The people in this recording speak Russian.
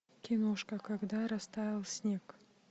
киношка когда растаял снег